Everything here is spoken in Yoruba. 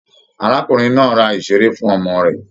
Arákùnrin náà rà iṣere fún ọmọ rẹ.